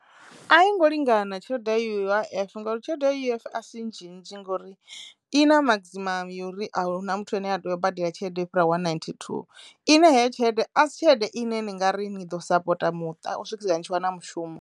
A i ngo lingana tshelede ya U_I_F ngori tshelede ya U_I_F a si nnzhi nnzhi ngori i na maximum yo ri ahuna muthu ane a tea u badela tshelede yo fhira one ninety-two ine heyo tshelede a si tshelede ine ni ngari ni ḓo sapota muṱa u swikisela ni tshi wana mushumo.